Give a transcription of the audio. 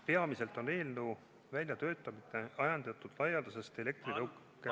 Peamiselt on eelnõu väljatöötamine ajendatud laialdasest elektritõukerataste levikust.